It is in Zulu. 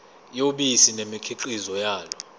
yobisi nemikhiqizo yalo